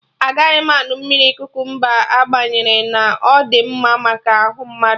Agaghị m aṅụ mmiri kukumba agbanyerọ na ọ dị mma maka arụ mmadụ